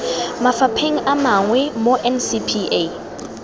mafapheng a mangwe mo ncpa